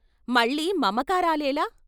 మళ్ళీ మమకారాలేల?